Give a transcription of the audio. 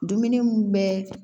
Dumuni mun bɛ